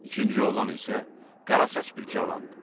İkinci oğlan isə qara saç bir cavandı.